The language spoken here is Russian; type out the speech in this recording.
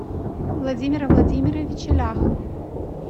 владимира владимировича ляха